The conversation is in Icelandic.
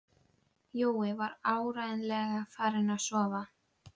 Jói var áreiðanlega farinn að sofa.